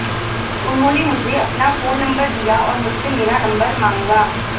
उन्होंने मुझे अपना फोन नंबर दिया और मुझसे मेरा नंबर मांगा